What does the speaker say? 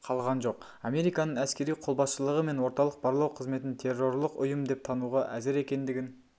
қалған жоқ американың әскери қолбасшылығы мен орталық барлау қызметін террорлық ұйым деп тануға әзір екендігін